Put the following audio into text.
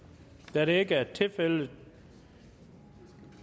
da det ikke er tilfældet